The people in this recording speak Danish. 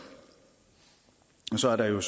sådan